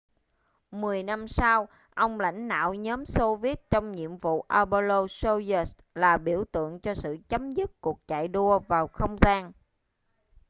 mười năm sau ông lãnh đạo nhóm xô viết trong nhiệm vụ apollo-soyuz là biểu tượng cho sự chấm dứt cuộc chạy đua vào không gian